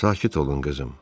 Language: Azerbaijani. Sakit olun qızım.